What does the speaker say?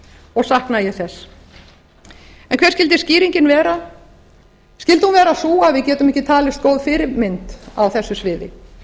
og sakna ég þess hver skyldi skýringin vera skyldi hún vera sú að við getum ekki talist góð fyrirmynd á þessu sviði